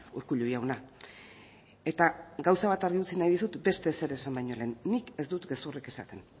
urkullu jauna eta gauza bat argi utzi nahi dizut beste ezer esan baino lehen nik ez dut gezurrik esaten